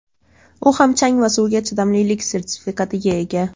U ham chang va suvga chidamlilik sertifikatiga ega.